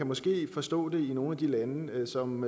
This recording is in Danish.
måske forstå det i nogle af de lande som